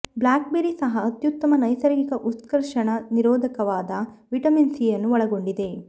BlackBerry ಸಹ ಅತ್ಯುತ್ತಮ ನೈಸರ್ಗಿಕ ಉತ್ಕರ್ಷಣ ನಿರೋಧಕವಾದ ವಿಟಮಿನ್ ಸಿ ಅನ್ನು ಒಳಗೊಂಡಿದೆ